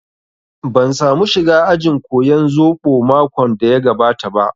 Ban samu shiga ajin koyan zobo makon da ya gabata ba